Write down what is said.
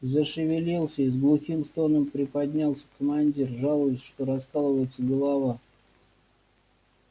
зашевелился и с глухим стоном приподнялся командир жалуясь что раскалывается голова